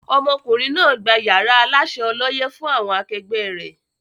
Ọmọkùnrin náà gbà yàrá Aláṣẹ ọlọ́yẹ́ fún àwọn akẹgbẹ́ ré.